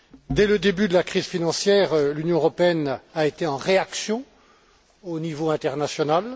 Dès le début de la crise financière, l'Union européenne a été en réaction au niveau international.